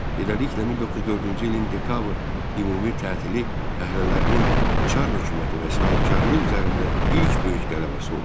Beləliklə, 1904-cü ilin dekabr ümumi tətili fəhlələrinin Çar hökuməti və sahibkarlıq üzərində ilk böyük qələbəsi oldu.